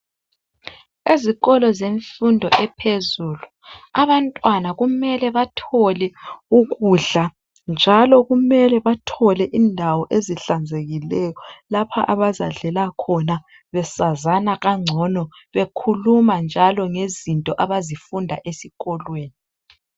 Ezikolo zemfundo yaphezulu abantwana kumele bathole ukudla njalo kumele bathole indawo ezihlanzekileyo lapha abazadlela khona besazana kangcono bekhuluma njalo ngezinto abazifunda esikolweni.